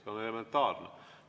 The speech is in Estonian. See on elementaarne.